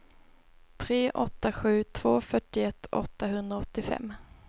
tre åtta sju två fyrtioett åttahundraåttiofem